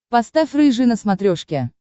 поставь рыжий на смотрешке